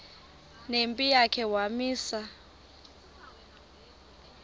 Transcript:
nempi yakhe wamisa